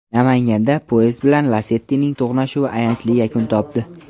Namanganda poyezd bilan "Lasetti"ning to‘qnashuvi ayanchli yakun topdi.